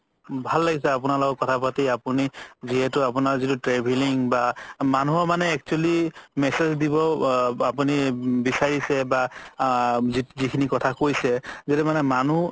ভাল লাগিছে আপুনাৰ লগত কথা পাতি আপুনি আপোনাৰ যিতো travelling বা মানুহৰ মানে actually message দিবও আপুনি বিচাৰিছে বা আ যিখিনি কথা কৈছে য্দি মানে মানুহ